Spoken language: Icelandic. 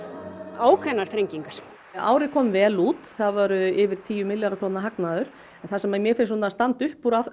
ákveðnar þrengingar árið kom vel út það var yfir tíu milljarða króna hagnaður en það sem mér finnst svona standa upp úr